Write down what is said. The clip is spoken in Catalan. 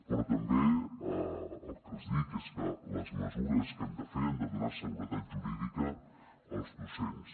però també el que els dic és que les mesures que hem de fer han de donar seguretat jurídica als docents